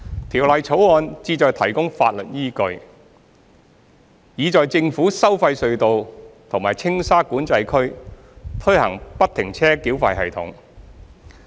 《條例草案》旨在提供法律依據，以在政府收費隧道及青沙管制區推行不停車繳費系統。